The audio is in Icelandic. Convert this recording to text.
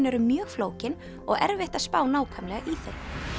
eru mjög flókin og erfitt að spá nákvæmlega í þau